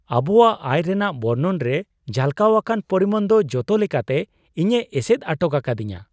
ᱟᱵᱚᱣᱟᱜ ᱟᱭ ᱨᱮᱭᱟᱜ ᱵᱚᱨᱱᱚᱱ ᱨᱮ ᱡᱷᱟᱞᱠᱟᱣ ᱟᱠᱟᱱ ᱯᱚᱨᱤᱢᱟᱱ ᱫᱚ ᱡᱚᱛᱚ ᱞᱮᱠᱟᱛᱮ ᱤᱧᱮ ᱮᱥᱮᱫ ᱟᱴᱚᱠ ᱟᱠᱟᱫᱤᱧᱟ ᱾